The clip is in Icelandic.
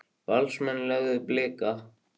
Valsmenn lögðu Blika